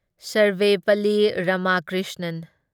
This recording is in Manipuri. ꯁꯔꯚꯦꯄꯜꯂꯤ ꯔꯥꯃꯥꯀ꯭ꯔꯤꯁꯅꯟ